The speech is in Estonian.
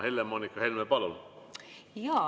Helle-Moonika Helme, palun!